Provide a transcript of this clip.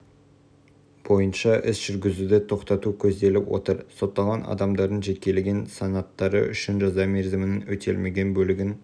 бойынша іс жүргізуді тоқтату көзделіп отыр сотталған адамдардың жекелеген санаттары үшін жаза мерзімінің өтелмеген бөлігін